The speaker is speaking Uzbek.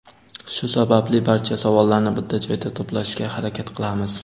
Shu sababli barcha savollarni bitta joyda to‘plashga harakat qilamiz.